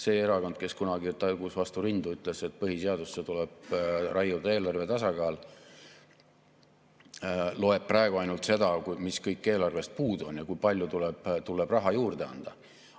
See erakond, kes kunagi tagus vastu rindu, ütles, et põhiseadusesse tuleb raiuda eelarve tasakaal, loeb praegu ainult seda, mis kõik eelarvest puudu on ja kui palju tuleb raha juurde anda.